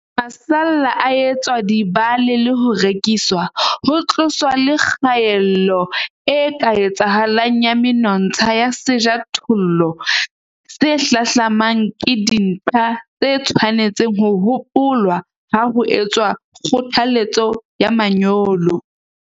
Haeba masalla a etswa dibale le ho rekiswa, ho tloswa le kgaello e ka etsahalang ya menontsha ya sejothollo se hlahlamang ke dintlha tse tshwanetseng ho hopolwa ha ho etswa kgothaletso ya manyolo.